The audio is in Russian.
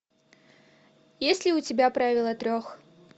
есть ли у тебя правила трех